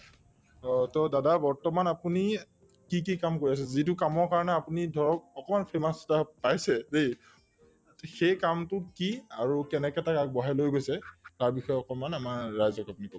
to to দাদা বৰ্তমান আপুনি কি কি কাম কৰি আছে যিটো কামৰ কাৰণে আপুনি ধৰক অকনমান famous এটা পাইছে সেই কামটো কি আৰু কেনেকে তাক আগবঢ়াই লৈ গৈছে তাৰবিষয়ে অকনমান আমাৰ ৰাইজক আপুনি কওঁক